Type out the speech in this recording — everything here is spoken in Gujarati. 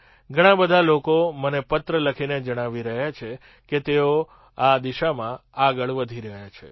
ઘણા બધા લોકો મને પત્ર લખી જણાવી રહ્યા છે કે તેઓ આ દિશામાં આગળ વધી ગયા છે